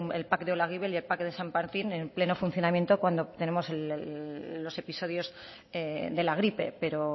el pac de olaguibel y el pac de san martin en pleno funcionamiento cuando tenemos los episodios de la gripe pero